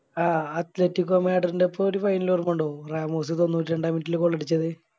ആ Athlete ഗോമഡർൻറെപ്പം ഒരു Final അവര് കൊണ്ടൊന്നു റാമോസ് തൊണ്ണൂറ്റിരണ്ടാം Minute ല് Goal അടിച്ചത്